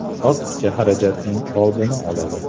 Ortiqcha xarajatning oldini oladi.